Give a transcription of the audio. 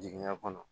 Jiginya kɔnɔ